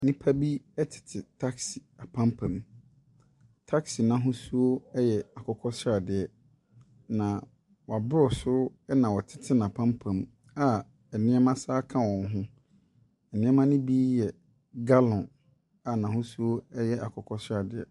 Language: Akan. Nnipa bi tete taxi apampam. Taxi no ahosuo yɛ akokɔ sradeɛ, na wɔaboro so na wɔtete n'apampam a nneɛma sane ka wɔn ho. Nneɛma no bi yɛ gallon a n'ahosuo yɛ akokɔ sradeɛ.